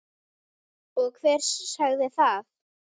Og hver sagði það?